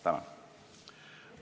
Tänan!